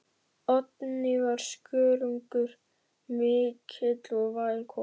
Oddný var skörungur mikill og væn kona.